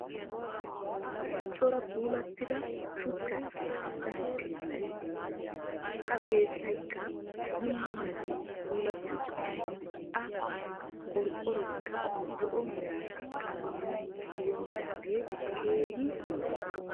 Cora puulattida shuchchan keexettida keettay beettes. Ha keettayikka bulla meran puulatti uttis. A qorqqoroyikka zo'o mera qalamiya tiyidoogee keehi lo'es.